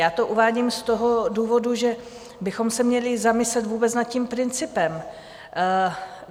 Já to uvádím z toho důvodu, že bychom se měli zamyslet vůbec nad tím principem.